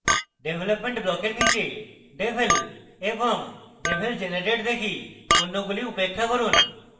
development ব্লকের নীচে devel এবং devel generate দেখি অন্যগুলি উপেক্ষা করুন